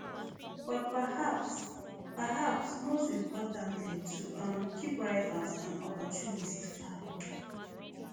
but perhaps perhaps most importantly to um keep rivals and opportunists far